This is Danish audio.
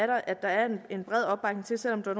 der er en en bred opbakning til selv om der